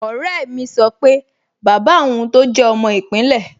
Ọ̀rẹ́ mi sọ pé bàbá òun tọ́ jẹ́ ọmọ ìpínlẹ̀